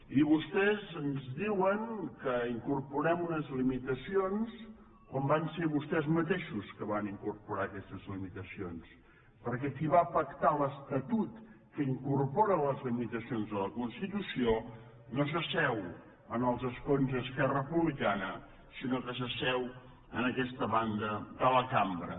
i vostès ens diuen que hi incorporem unes limitacions quan van ser vostès mateixos que van incorporar aquestes limitacions perquè qui va pactar l’estatut que incorpora les limitacions de la constitució no s’asseu en els escons d’esquerra republicana sinó que s’asseu en aquesta banda de la cambra